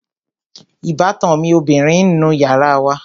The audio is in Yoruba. Ìbátan mi ọbìrin ń nu yàrá wa